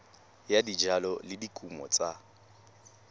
ya dijalo le dikumo tsa